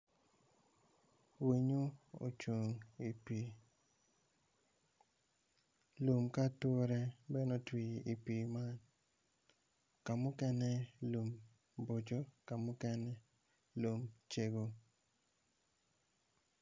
Winyo ocung iwi pii lum ki ature bene ocun iwi pii man ka mukene lum boco ka mukene lum cego.